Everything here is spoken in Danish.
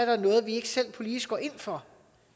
er noget vi ikke selv politisk går ind for